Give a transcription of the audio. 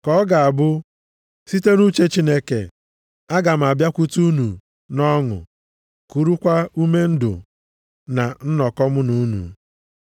Ka ọ ga-abụ site nʼuche Chineke, aga m abịakwute unu nʼọṅụ kurukwa ume ndụ na nnọkọ mụ na unu.